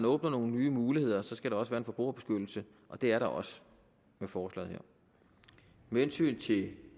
åbner nogle nye muligheder skal der også være en forbrugerbeskyttelse og det er der også med forslaget her med hensyn til